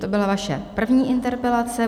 To byla vaše první interpelace.